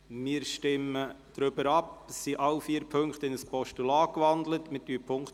Es sind alle vier Ziffern in ein Postulat gewandelt worden.